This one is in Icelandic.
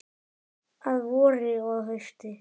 Að vori og hausti.